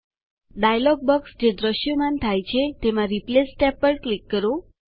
dialog box જે દ્રશ્યમાન થાય છે તેમાં રિપ્લેસ ટેબ પર ક્લિક કરો